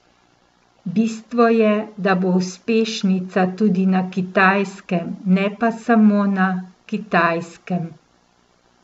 Bistvo je da bo uspešnica tudi na Kitajskem, ne pa samo na Kitajskem.